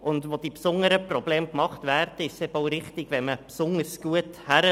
Und dort, wo die besonderen Probleme gemacht werden, ist es auch richtig, besonders gut hinzusehen.